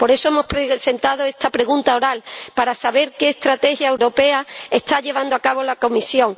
Por eso hemos presentado esta pregunta oral, para saber qué estrategia europea está llevando a cabo la Comisión.